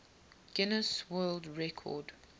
guinness world record